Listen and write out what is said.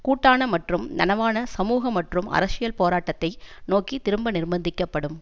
கூட்டான மற்றும் நனவான சமூக மற்றும் அரசியல் போராட்டத்தை நோக்கி திரும்ப நிர்ப்பந்திக்கப்படும்